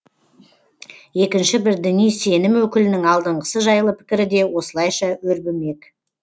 екінші бір діни сенім өкілінің алдыңғысы жайлы пікірі де осылайша өрбімек